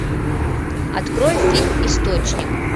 открой фильм источник